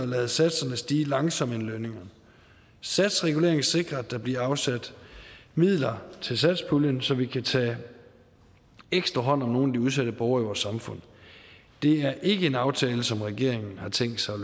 lade satserne stige langsommere end lønningerne satsreguleringen sikrer at der bliver afsat midler til satspuljen så vi kan tage ekstra hånd om nogle af de udsatte borgere i vores samfund det er ikke en aftale som regeringen har tænkt sig at